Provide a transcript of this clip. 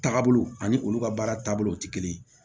Taabolo ani olu ka baara taabolo tɛ kelen ye